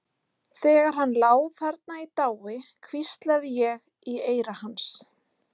Þegar hann lá þarna í dái hvíslaði ég í eyra hans.